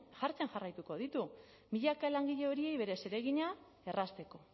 jartzen jarraituko ditu milaka langile horiei beren zeregina errazteko